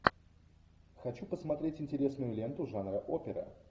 хочу посмотреть интересную ленту жанра опера